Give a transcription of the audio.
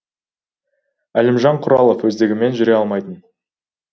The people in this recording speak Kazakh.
әлімжан құралов өздігімен жүре алмайтын